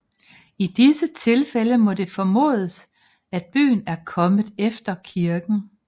I disse tilfælde må det formodes at byen er kommet efter kirken